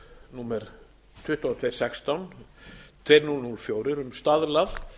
númer tvö þúsund tvö hundruð og sextán tvö þúsund og fjögur um staðlað